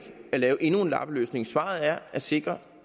at lave endnu en lappeløsning svaret er at sikre